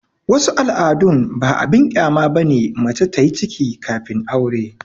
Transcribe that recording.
wasu al'adun ba abin kyama ba ne mace ta yi ciki kafin aure